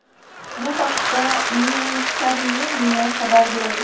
Bu haqda Newsarmenia xabar berdi .